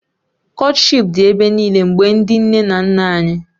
Kọtshipu dị ebe niile mgbe ndị nne na nna anyị